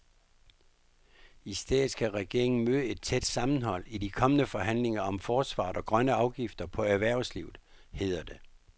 I stedet skal regeringen møde et tæt sammenhold i de kommende forhandlinger om forsvaret og grønne afgifter på erhvervslivet, hedder det.